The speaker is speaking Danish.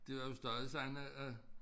Det var jo stadig sådan at at